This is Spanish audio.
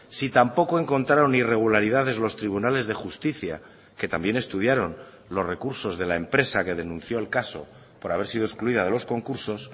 si tampoco encontraron irregularidades los tribunales de justicia que también estudiaron los recursos de la empresa que denunció el caso por haber sido excluida de los concursos